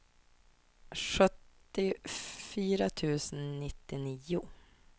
sjuttiofyra tusen nittionio